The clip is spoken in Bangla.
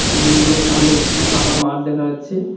বিল্ডিংয়ের সামনে একটি ফাঁকা মাঠ দেখা যাচ্ছে।